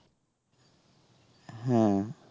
হ্যাঁ